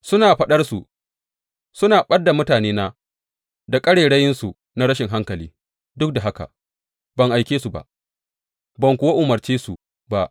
Suna faɗarsu suna ɓad da mutanena da ƙarairayinsu na rashin hankali, duk da haka ban aike su ba, ban kuwa umarce su ba.